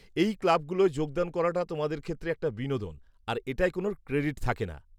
-এই ক্লাবগুলোয় যোগদান করাটা তোমাদের ক্ষেত্রে একটা বিনোদন, আর এটায় কোন ক্রেডিট থাকে না।